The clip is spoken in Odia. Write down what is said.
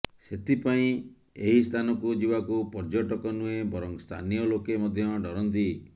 ସେଥିପାଇଁ ଏହି ସ୍ଥାନକୁ ଯିବାକୁ ପର୍ଯ୍ୟଟକ ନୁହେଁ ବରଂ ସ୍ଥାନୀୟ ଲୋକେ ମଧ୍ୟ ଡରନ୍ତି